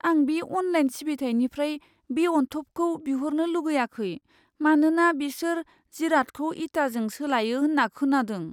आं बे अनलाइन सिबिथाइनिफ्राय बे अनथोबखौ बिहरनो लुगैआखै, मानोना बेसोर जिरादखौ इटाजों सोलायो होन्ना खोनादों।